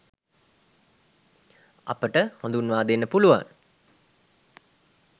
අපට හඳුන්වා දෙන්න පුළුවන්.